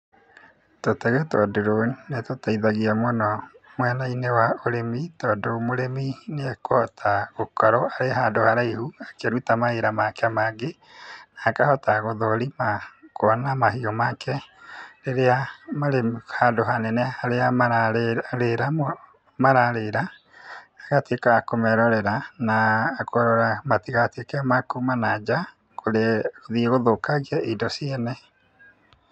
Tũtege twa drone nĩ tũteithagia mũno mwena-inĩ wa ũrĩmi, tondũ mũrĩmi nĩ ekũhota gũkorwo e handũ haraihu akĩruta mawĩra make mangĩ, na akahota gũthũrima kuona mahiũ make rĩrĩa marĩ handũ hanene harĩa mararĩra, ĩgatuĩka ya kũmerorera na kũrora matigatuĩke ma kuma na nja gũthiĩ gũthũkangia indo ciene.